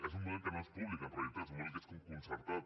és un model que no és públic en realitat és un model que és com concertat